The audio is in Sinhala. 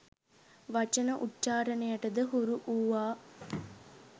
වචන උච්චාරණයට ද හුරු වූවා